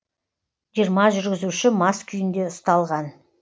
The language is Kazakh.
жиырма жүргізуші мас күйінде ұсталған